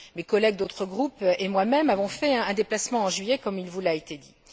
Mes collègues d'autres groupes et moi même avons fait un déplacement, en juillet, comme il vous l'a été dit.